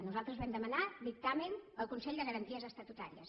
nosaltres vam demanar dictamen al consell de garanties estatutàries